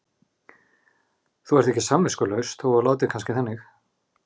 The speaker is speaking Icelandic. Þú ert ekki samviskulaus þótt þú látir kannski þannig.